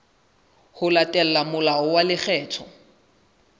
ho latela molao wa lekgetho